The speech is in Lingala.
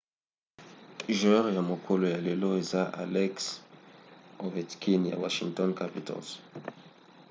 joueur ya mokolo ya lelo eza alex ovechkin ya washington capitals